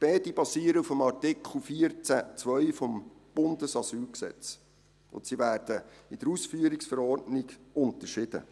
Beide basieren auf dem Artikel 14 Absatz 2 AsylG. Sie werden in der Ausführungsverordnung unterschieden.